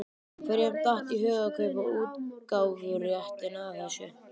Hverjum datt í hug að kaupa útgáfuréttinn að þessu?